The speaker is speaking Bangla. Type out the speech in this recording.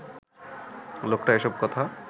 লোকটা এসব কথা